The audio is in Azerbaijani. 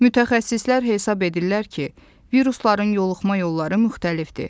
Mütəxəssislər hesab edirlər ki, virusların yoluxma yolları müxtəlifdir.